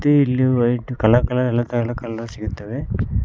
ಇಲ್ಲಿ white colour colour ಎಲ್ಲಾ ತರ ಎಲ್ಲಾ ಕಲರ್ ಸಿಗುತ್ತವೆ.